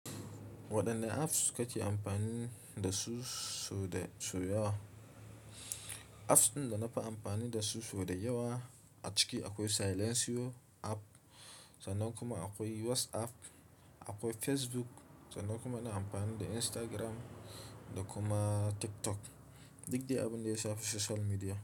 Waɗanne apps kake amfani da su sau da yawa? Apps ɗin da na fi amfani da su sau da yawa a ciki akwai Silentio app sannan kuma akwai WhatsApp, akwai Facebook sannan kuma na amfani da Instagram da kuma TikTok. Duk dai abin da ya shafi social media.